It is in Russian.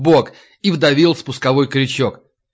бок и вдавил спусковой крючок